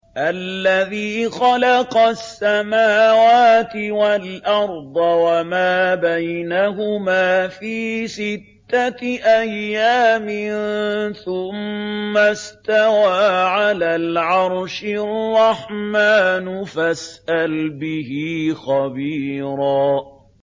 الَّذِي خَلَقَ السَّمَاوَاتِ وَالْأَرْضَ وَمَا بَيْنَهُمَا فِي سِتَّةِ أَيَّامٍ ثُمَّ اسْتَوَىٰ عَلَى الْعَرْشِ ۚ الرَّحْمَٰنُ فَاسْأَلْ بِهِ خَبِيرًا